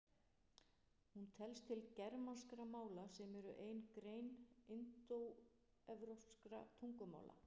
Hún telst til germanskra mála sem eru ein grein indóevrópskra tungumála.